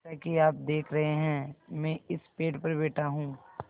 जैसा कि आप देख रहे हैं मैं इस पेड़ पर बैठा हूँ